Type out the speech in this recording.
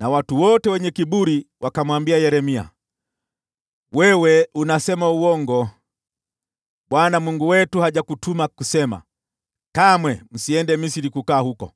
na watu wote wenye kiburi wakamwambia Yeremia, “Wewe unasema uongo! Bwana Mungu wetu hajakutuma kusema, ‘Kamwe msiende Misri kukaa huko.’